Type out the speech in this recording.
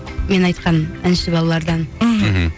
мен айтқан әнші балалардан мхм